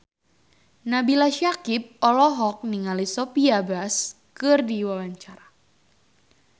Nabila Syakieb olohok ningali Sophia Bush keur diwawancara